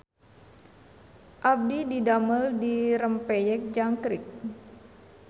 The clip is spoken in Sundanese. Abdi didamel di Rempeyek Jangkrik